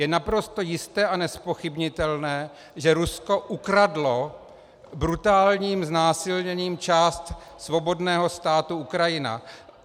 Je naprosto jisté a nezpochybnitelné, že Rusko ukradlo brutálním znásilněním část svobodného státu Ukrajina.